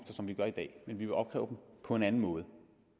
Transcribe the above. som vi gør i dag men at vi vil opkræve dem på en anden måde